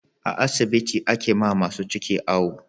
A asibiti ake wa masu ciki awo